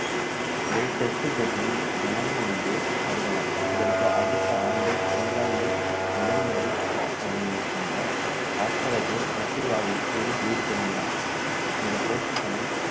இடையில் test போட்டியில் ஜனனம் என்று கருதலாம் இதற்கு அடுத்த ஆண்டு இங்கிலாந்தில் முதன்முறை சுற்றுப்பயணம் மேற்கொண்ட ஆஸ்திரேலியர்கள் வெற்றி வாகை சூடி வீடு திரும்பினர் இந்த போட்டிகளில்